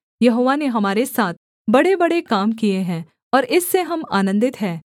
यहोवा ने हमारे साथ बड़ेबड़े काम किए हैं और इससे हम आनन्दित हैं